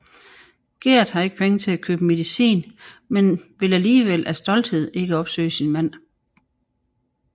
Gerd har ikke penge til at købe medicin men vil alligevel af stolthed ikke opsøge sin mand